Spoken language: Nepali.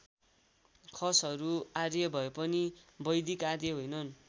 खसहरू आर्य भए पनि वैदिक आर्य होइनन्।